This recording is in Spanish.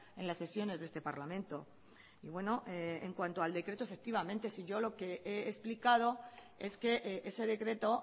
en las sesiones de este parlamento y bueno en cuanto al decreto efectivamente si yo lo que he explicado es que ese decreto